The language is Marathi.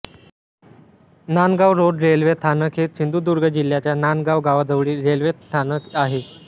नांदगाव रोड रेल्वे स्थानक हे सिंधुदुर्ग जिल्ह्याच्या नांदगाव गावाजवळील रेल्वे स्थानक आहे